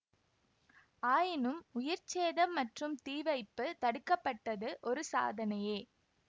ஆயினும் உயிர் சேதம் மற்றும் தீவைப்பு தடுக்க பட்டது ஒரு சாதனையே